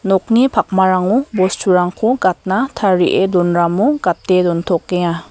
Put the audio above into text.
nokni pakmarango bosturangko gatna tarie donramo gate dontokenga.